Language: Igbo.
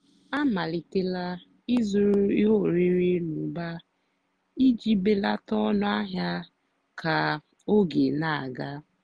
a màlìtélá ị́zụ́rụ́ íhé órírì n'ụ́bà ìjì bèlátá ónú àhịá kà ógè nà-àgá.